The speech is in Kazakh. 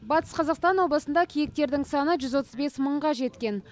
батыс қазақстан облысында киіктердің саны жүз отыз бес мыңға жеткен